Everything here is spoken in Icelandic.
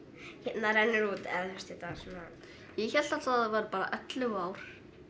hérna rennur út eða þú veist ég hélt alltaf að það væru bara ellefu ár